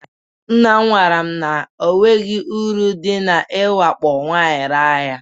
Nnam gwaram na onweghi uru dị iwakpo nwaanyị raa ya.